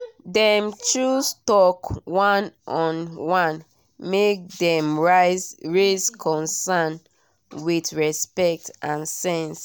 dem choose talk one-on-one make dem raise concern with respect and sense